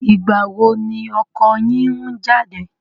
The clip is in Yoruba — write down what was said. Ìgbà wo ni ọkọ yín ń jáde?